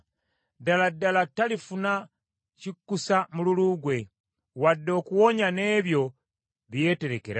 “Ddala ddala talifuna kikkusa mululu gwe, wadde okuwonya n’ebyo bye yeeterekera.